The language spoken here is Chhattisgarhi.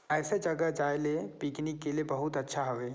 ऐसी जगह जयाले पिकनिक के लिए बहुत अच्छा हुवे--